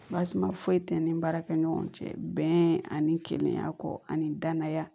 Basuma foyi tɛ n ni baarakɛ ɲɔgɔn cɛ bɛn ani kelenya kɔ ani danaya